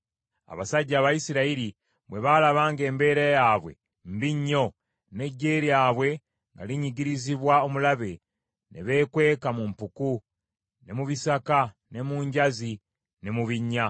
Abasajja Abayisirayiri bwe baalaba ng’embeera yaabwe mbi nnyo, n’eggye lyabwe nga linnyigirizibwa omulabe, ne beekweka mu mpuku, ne mu bisaka ne mu njazi, ne mu binnya.